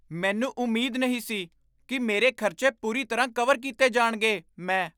ਮੈਨੂੰ ਉਮੀਦ ਨਹੀਂ ਸੀ ਕੀ ਮੇਰੇ ਖ਼ਰਚੇ ਪੂਰੀ ਤਰ੍ਹਾਂ ਕਵਰ ਕੀਤੇ ਜਾਣਗੇ ਮੈਂ